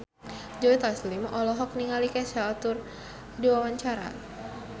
Joe Taslim olohok ningali Kesha keur diwawancara